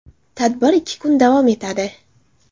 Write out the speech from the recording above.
Tadbir ikki kun davom etadi.